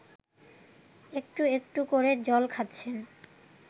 একটু একটু করে জল খাচ্ছেন